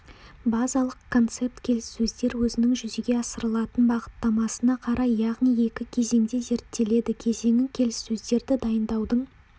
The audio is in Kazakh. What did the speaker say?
базалық концепт келіссөздер өзінің жүзеге асырылатын бағыттамасына қарай яғни екі кезеңде зерттеледі кезеңі келіссөздерді дайындаудың